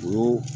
O y'o